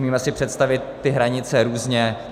Umíme si představit ty hranice různě.